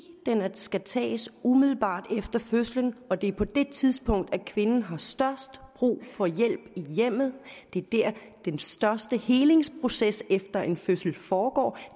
skal tages umiddelbart efter fødslen og det er på det tidspunkt kvinden har størst brug for hjælp i hjemmet det er der den største helingsproces efter en fødsel foregår